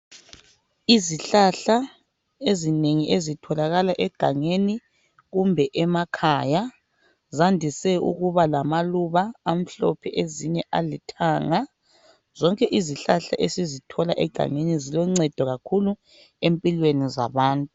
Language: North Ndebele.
Izihlahla ezinengi ezitholakala egangeni kumbe emakhaya zandise ukuba lamaluba amhlophe ezinye alithanga. Zonke izihlahla ezitholakala egangeni ziloncedo kakhulu empilweni zabantu.